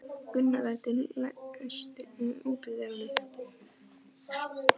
Gunndóra, læstu útidyrunum.